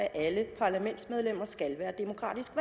at alle parlamentsmedlemmer skal være demokratisk